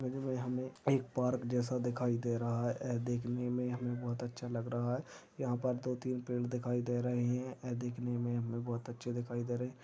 Image मे हमे एक पार्क जैसा दिखाई दे रहा है देखने मे हमे बहुत अच्छा लग रहा है यहाँ पर दो तीन पेड़ दिखाई दे रहे है देखने मे हमे बहुत अच्छी दिखाई दे रहे।